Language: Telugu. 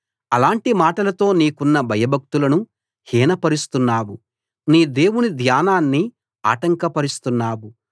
అలాంటి మాటలతో నీకున్న భయభక్తులను హీనపరుస్తున్నావు నీ దేవుని ధ్యానాన్ని ఆటంకపరుస్తున్నావు